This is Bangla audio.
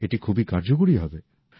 এটি খুবই কার্যকরী হবে